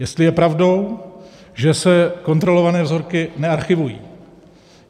Jestli je pravdou, že se kontrolované vzorky nearchivují.